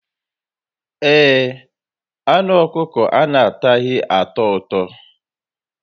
Ee, anụ ọkụkọ anataghi atọ ụtọ